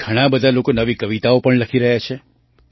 ઘણા બધા લોકો નવી કવિતાઓ પણ લખી રહ્યા છે